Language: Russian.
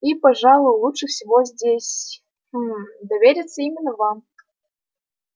и пожалуй лучше всего здесь хм довериться именно вам